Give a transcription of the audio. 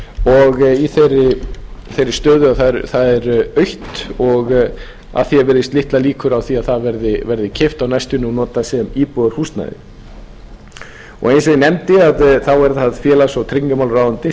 og í þeirri stöðu að það er autt og að því er virðist litlar líkur á því að að verði keypt á næstunni og notað sem íbúðarhúsnæði eins og ég nefndi er það félags og tryggingamálaráðuneyti